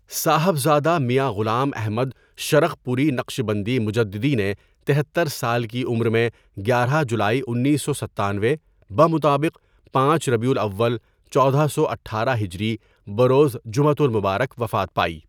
صاحبزادہ میاں غلام احمدشرقپوری نقشبندی مجددی نےتہتر سال کی عمرمیں گیارہ جولائی انیس سو ستانوے بمطابق پانچ ربیع الاول چودہ سو اٹھارہ ہجری بروزجمعۃ المبارک وفات پائی.